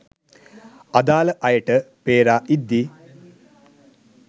අදාල අය‍ට පේරා ඉද්දි